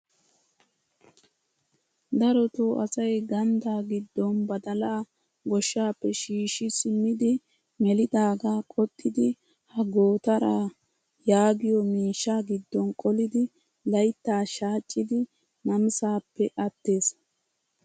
Darotoo asay ganddaa giddon badalaa gooshshaappe shiishshi simmidi melidaagaa qoxxidi ha gootaraa yaagiyoo miishshaa giddon qolidi layttaa shachchidi namisaappe attees!